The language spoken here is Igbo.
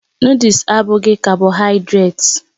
Noddles abụghị kábohaidret